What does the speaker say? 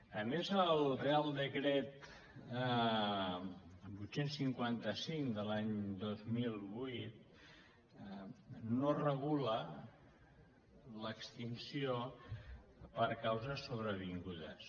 a més el reial decret vuit cents i cinquanta cinc de l’any dos mil vuit no regula l’extinció per causes sobrevingudes